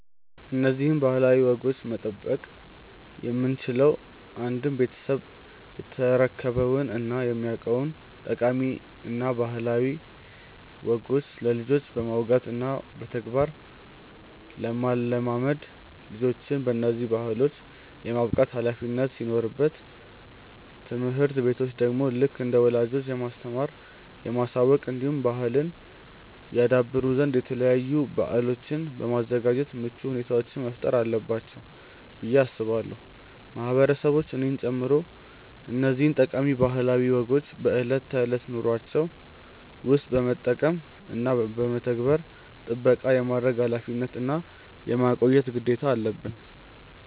እነዚህን ባህላዊ ወጎች መጠበቅ የምንችለው አንድም ቤተሰብ የተረከበውን እና የሚያውቀውን ጠቃሚ እና ባህላዊ ወጎች ለልጆች በማውጋት እና በተግባር ለማለማመድ ልጆችን በነዚህ ባህሎች የማብቃት ኃላፊነት ሲኖርበት ትምህርት ቤቶች ደግሞ ልክ እንደ ወላጆች የማስተማር፣ የማሳወቅ እንዲሁም ባህልን ያደብሩ ዘንድ የተለያዩ በአሎችን በማዘጋጃት ምቹ ሁኔታዎችን መፍጠር አለባቸው ብዬ አስባለው። ማህበረሰቦች እኔን ጨምሮ እነዚህን ጠቃሚ ባህላዊ ወጎችን በእለት ተእለት ኑሮዎችን ውስጥ በመጠቀም እና በመተግበር ጥበቃ የማድረግ ኃላፊነት እና የማቆየት ግዴታ አለበን።